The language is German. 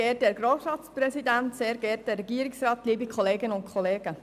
Die Planungserklärung lehnen wir ab.